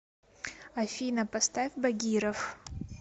афина поставь багиров